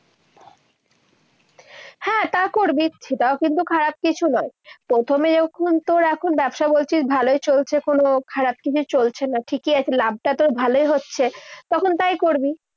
হ্যাঁ, তা করবি। সেটাও কিন্তু খারাপ কিছু নয়। প্রথমে যখন তোর এখন ব্যবসা বলছিস ভালোই চলছে। কোনো খারাপ কিছু চলছে না। ঠিকই আছে, লাভটা তো ভালোই হচ্ছে। তখন তাই করবি।